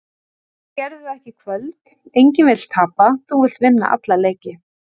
Þeir gerðu það ekki í kvöld. Enginn vill tapa, þú vilt vinna alla leiki.